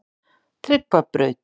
Tryggvabraut